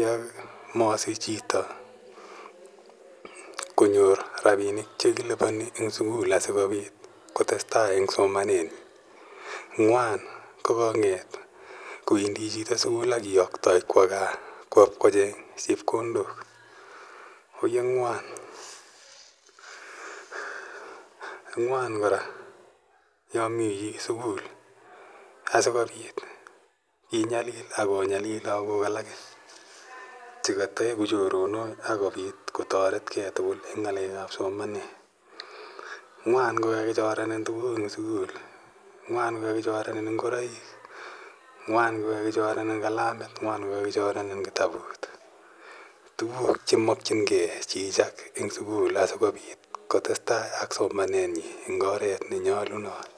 ya masich chito konyor rapinik che kilipani en sukul asikopit kotes tai en somenenyi. Ng'wan ko kang'et chito ko wendi sukul ak kiyaktai kowa gaa kowa ipkocheng' chepkondok, oyee ng'wan. Ng'wan kora yami piik sukul asikopit inyalil ak konyalil lagok alake che ka taeku choronok ak kopit ko taretgei tugul eng' ng'alek ap somanet. Ng'wan ko kakichorenin tuguk eng' sukul. Ng'wan ko kakichorenin ngoroik. Ng'wan ko kakichorenin kalamit. Ng'wan ko kakichorenin kitabut. Tuguk che makchingei chi eng' sukul asikopit kotestai ak somanenyi eng' oret ne nyalunot.